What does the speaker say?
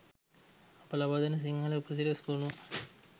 අප ලබාදෙන සිංහල උපසිරැසි ගොණුව